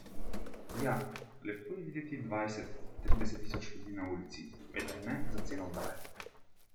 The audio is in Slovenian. Ja, lepo je videti dvajset, trideset tisoč ljudi na ulici, vendar ne za ceno vdaje!